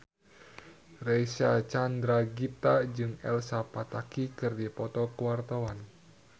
Reysa Chandragitta jeung Elsa Pataky keur dipoto ku wartawan